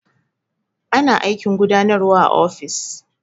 Ana aikin gudanarwa a ofis.